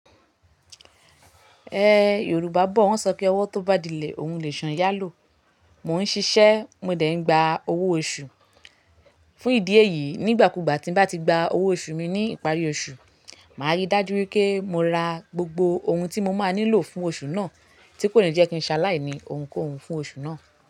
Ẹ̀ Yorùbá bọ̀ wọ́n sọ pé ọwọ́ tó bá dílẹ̀, òun lèsu n yá lò. Mò ń ṣiṣẹ́, mo dẹ̀ ń gba owó oṣù. Fún ìdí èyí, nígbàkúùgbà tí mo bá ti gba owó oṣù mi ní ìparí oṣù, màá rí dájú pé mo ra gbogbo ohun tí mo máa nílò fún oṣù náà, tí kò ní jẹ́ kí n ṣaláì ní ohunkóhun fún oṣù náà.